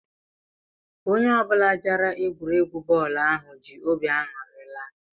Onye ọ bụla bịara egwuregwu bọọlu ahụ jị óbị aṅụri laa.